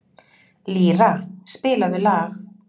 Lýra, spilaðu lag.